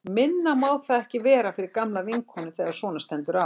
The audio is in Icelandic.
Minna má það ekki vera fyrir gamla vinkonu þegar svona stendur á.